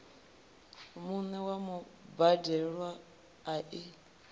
vhuṋe ya mubadelwa a i